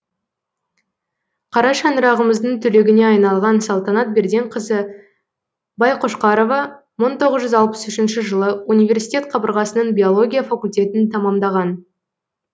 қара шаңырағымыздың түлегіне айналған салтанат берденқызы байқошқарова мың тоғыз жүз алпыс үшінші жылы университет қабырғасының биология факультетін тәмамдаған